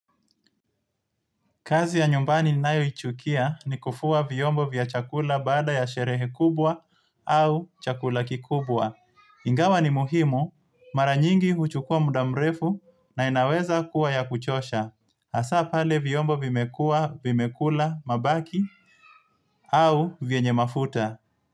Kazi ya numbani ninayochukia ni kufua viombo vya chakula baada ya sherehe kubwa au chakula kikubwa. Ingawa ni muhimu, mara nyingi huchukua mudamrefu na inaweza kuwa ya kuchosha. Asa pale viombo vimekua, vimekula, mabaki au vienye mafuta.